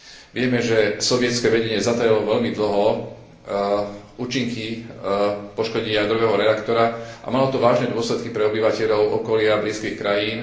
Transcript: Vieme, že sovietske vedenie zatajovalo veľmi dlho účinky poškodenia jadrového reaktora a malo to vážne dôsledky pre obyvateľov okolia blízkych krajín.